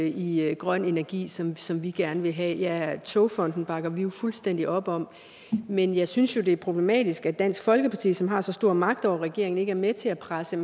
i grøn energi sådan som vi gerne vil have ja togfonden dk bakker vi jo fuldstændig op om men jeg synes det er problematisk at dansk folkeparti som har så stor magt over regeringen ikke er med til at presse